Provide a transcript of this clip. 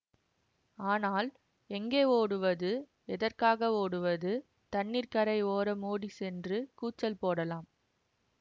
ஆனால் எங்கே ஓடுவது எதற்காக ஓடுவது தண்ணீர்க்கரை ஓரம் ஓடிச்சென்று கூச்சல் போடலாம்